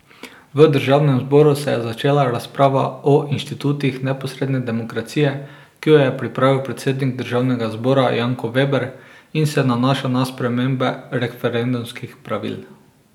V državnem zboru se je začela razprava o inštitutih neposredne demokracije, ki jo je pripravil predsednik državnega zbora Janko Veber in se nanaša na spremembe referendumskih pravil.